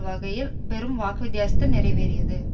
வகையில் பெரும் வாக்கு வித்தியாசத்தில் நிறைவேறியது